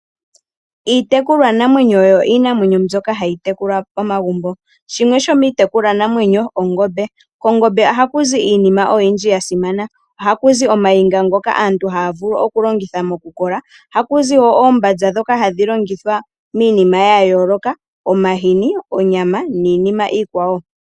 Iitekulwa namwenyo oyo iinamwenyo mbyoka hayi tekulwa momagumbo. Shimwe shomiitekulwa namwenyo ongombe. Kongombe ohaku zi iinima oyindji yasimana. Ohakuzi ooniga ndhoka aantu haya vulu oku longitha moku kola. Ohakuzi woo oombaza ndhoka hadhi longithwa miinima ya yooloka, omahini, onyama niinima iikwawo.